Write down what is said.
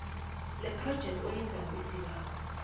lephrojekthi oyenzela isibawo